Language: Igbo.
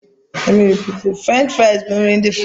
Furenchi furais bụ nri ndị Furansi.